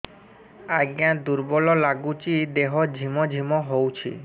ଆଜ୍ଞା ଦୁର୍ବଳ ଲାଗୁଚି ଦେହ ଝିମଝିମ ହଉଛି